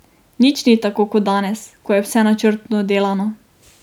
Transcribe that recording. Nič ni tako kot danes, ko je vse načrtno delano.